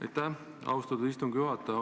Aitäh, austatud istungi juhataja!